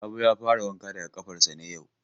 Sabo ya fara wanka daga ƙafarsa ne yau.